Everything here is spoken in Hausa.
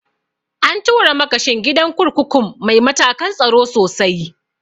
An tura makashin gidan kurkukun mai matakan tsaro sosai